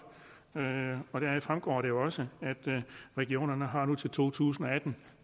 deraf fremgår det jo også at regionerne nu har indtil to tusind og atten